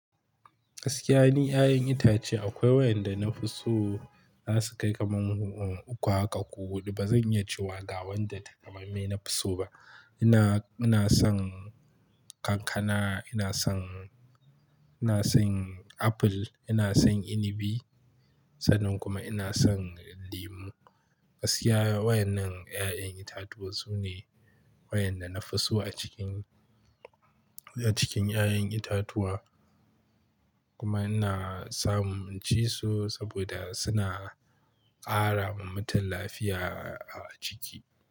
Gaskiya ne, ƴaƴan itace akwai wayanda na fi so za su kai kamar uku haka ko huɗu. Ba zan iya cewa ga wanda takamaimai na fi so ba. Ina, ina son kankana, ina son, ina son apple, ina son inibi sannan kuma ina son lemu. Gaskiya wayannan ƴaƴan itatuwa sune wayanda na fi so a cikin, a cikin ƴaƴan itatuwa. Kuma ina samun inci su saboda suna ƙara wa mutum lafiya a ciki.